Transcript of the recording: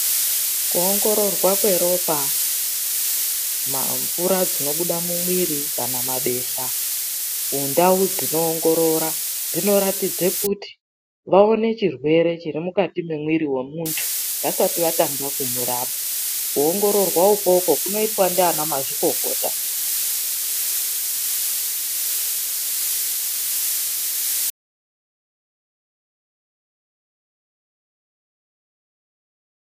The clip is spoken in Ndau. Kuongororwa kweropa, mvura dzinobuda mumwiri kana mabesha mundau dzinoongorora dzinoratidze kuti vaone chirwere chiri mukati mwemwiri wemuntu vasati vatanga kumurapa. Kuongororwa ikwokwo kunoitwa ngavana mazvikokota.